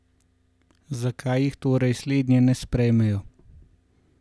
Zakaj jih torej slednje ne sprejmejo?